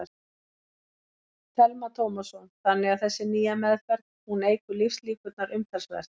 Telma Tómasson: Þannig að þessi nýja meðferð, hún eykur lífslíkurnar umtalsvert?